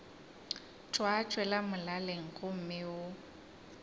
tša tšwela molaleng gomme o